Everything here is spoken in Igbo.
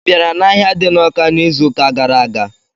Ị bịara n'ahịa di n'Ọká n'izuụka gara aga?